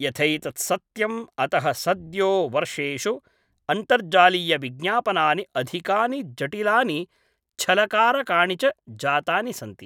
यथैतत् सत्यम् अतः सद्यो वर्षेषु अन्तर्जालीयविज्ञापनानि अधिकानि जटिलानि छलकारकाणि च जातानि सन्ति।